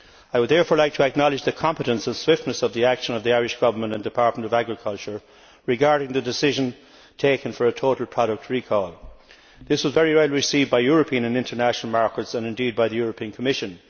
I would therefore like to acknowledge the competence and swiftness of the action taken by the Irish Government and the Department of Agriculture regarding the decision taken for a total product recall. This was very well received by European and international markets, and indeed by the European Commission.